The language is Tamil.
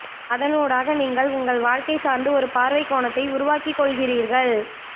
அதனூடாக நீங்கள் உங்கள் வாழ்க்கை சார்ந்து ஒரு பார்வைக்கோணத்தை உருவாக்கிக் கொள்கிறீர்கள்